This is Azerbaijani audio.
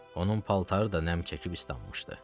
Onun paltarı da nəm çəkib islanmışdı.